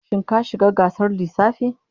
Shin ka shiga gasar lissafi?